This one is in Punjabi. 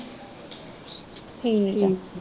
ਠੀਕ ਆ